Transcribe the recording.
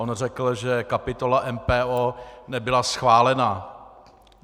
On řekl, že kapitola MPO nebyla schválena.